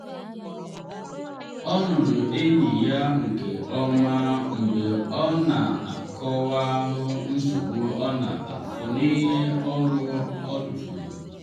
ọ nụrụ enyi ya nke ọma mgbe ọ na akọwahụ nsogbu ọ na afụ n’ihi ọrụ ọ tufuru.